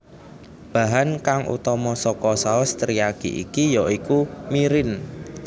Bahan kang utama saka saos teriyaki iki ya iku mirin